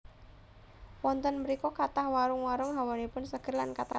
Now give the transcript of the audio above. Wonten mrika kathah warung warung hawanipun seger lan kathah cemaranipun